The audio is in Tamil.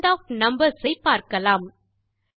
ரவுண்ட் ஆஃப் நம்பர்ஸ் ஐ பார்க்கலாம்